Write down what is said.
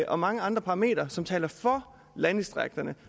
og mange andre parametre som taler for landdistrikterne